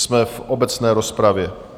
Jsme v obecné rozpravě.